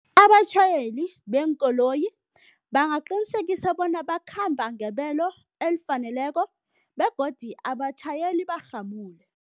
Abatjhayeli beenkoloyi bangaqinisekisa bona bakhamba ngebelo elifaneleko begodu abatjhayeli bamarhamule.